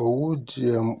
owu gmo